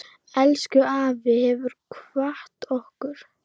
Elsku afi hefur kvatt okkur.